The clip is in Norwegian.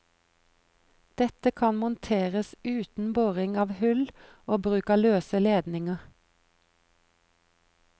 Dette kan monteres uten boring av hull og bruk av løse ledninger.